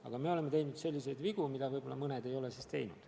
Aga me oleme teinud selliseid vigu, mida mõned teised riigid ei ole teinud.